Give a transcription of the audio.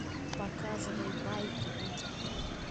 показывай байки митяя